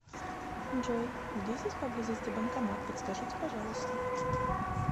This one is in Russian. джой где здесь поблизости банкомат подскажите пожалуйста